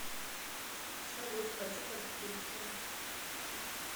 салют хочу подстричься